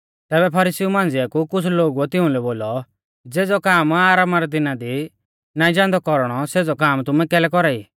तैबै फरीसीउ मांझ़िऐ कु कुछ़ लोगुऐ तिउंलै बोलौ ज़ेज़ौ काम आरामा रै दिना दी नाईं जान्दौ कौरणौ सेज़ौ काम तुमै कैलै कौरा ई